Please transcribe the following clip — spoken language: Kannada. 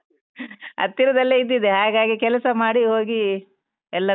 ಹತ್ತಿರದಲ್ಲೇ ಇದ್ದಿದೆ, ಹಾಗಾಗಿ ಕೆಲಸ ಮಾಡಿ ಹೋಗಿ ಎಲ್ಲ.